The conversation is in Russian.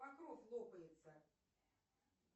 покров лопается